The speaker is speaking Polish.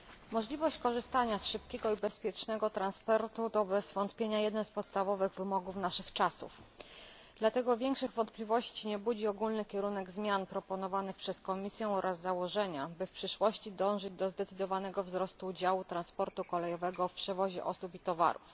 Możliwość korzystania z szybkiego i bezpiecznego transportu to bez wątpienia jeden z podstawowych wymogów naszych czasów, dlatego większych wątpliwości nie budzi ogólny kierunek zmian proponowanych przez Komisję oraz założenia, by w przyszłości dążyć do zdecydowanego wzrostu działu transportu kolejowego w przewozie osób i towarów.